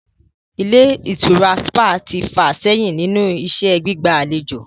Ilé ìtura sípà ti fà sẹ́yìn nínú iṣẹ́ ìgbà'lejò